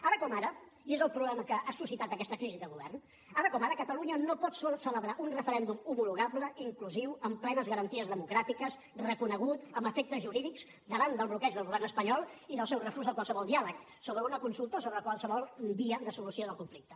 ara com ara i és el problema que ha suscitat aquesta crisi de govern catalunya no pot celebrar un referèndum homologable inclusiu amb plenes garanties democràtiques reconegut amb efectes jurídics davant del bloqueig del govern espanyol i del seu refús de qualsevol diàleg sobre una consulta o sobre qualsevol via de solució del conflicte